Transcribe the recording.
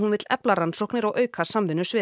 vill efla rannsóknir og auka samvinnu sviða